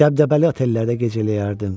Dəbdəbəli otellərdə gecələyərdim.